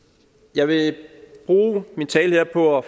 jeg vil bruge min tale her på at